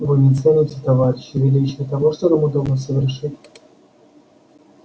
вы не цените товарищи величие того что нам удалось совершить